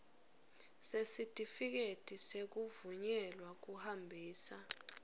sesitifiketi sekuvunyelwa kuhambisa